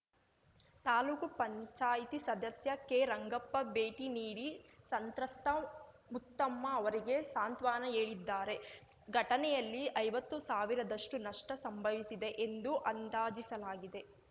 ತಾಲೂಕು ಪಂಚಾಯ್ತಿ ಸದಸ್ಯ ಕೆರಂಗಪ್ಪ ಭೇಟಿ ನೀಡಿ ಸಂತ್ರಸ್ತ ಮುತ್ತಮ್ಮ ಅವರಿಗೆ ಸಾಂತ್ವನ ಹೇಳಿದ್ದಾರೆ ಘಟನೆಯಲ್ಲಿ ಐವತ್ತು ಸಾವಿರದಷ್ಟುನಷ್ಟಸಂಭವಿಸಿದೆ ಎಂದು ಅಂದಾಜಿಸಲಾಗಿದೆ